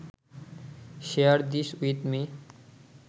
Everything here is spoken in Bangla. share this with me